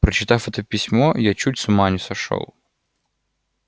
прочитав это письмо я чуть с ума не сошёл